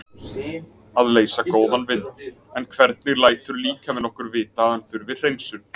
Að leysa góðan vind En hvernig lætur líkaminn okkur vita að hann þurfi hreinsun?